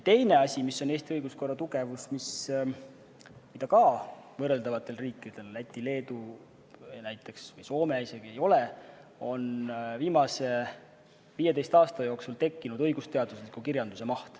Teine asi, mis on Eesti õiguskorra tugevus ja mida võrreldavatel riikidel, näiteks Lätil, Leedul või Soomel, isegi ei ole, on viimase 15 aasta jooksul tekkinud mahukas õigusteaduslik kirjandus.